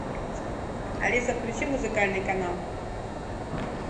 алиса включи музыкальный канал